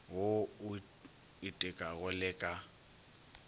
wo o itekago le ka